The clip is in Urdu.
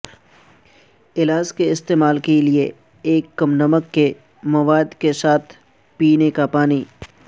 علاج کے استعمال کے لئے ایک کم نمک کے مواد کے ساتھ پینے کے پانی